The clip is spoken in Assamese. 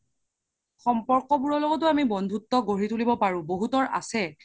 সম্পৰ্ক বোৰৰ লগতো আমি বন্ধুত্ব গঢ়ি তুলিব পৰো বহুতৰ আছে